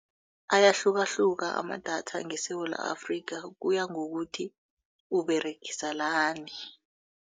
Ayahlukahluka amadatha ngeSewula Afrika kuya ngokuthi uberegisa lani.